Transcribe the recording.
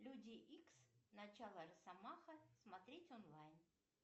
люди икс начало росомаха смотреть онлайн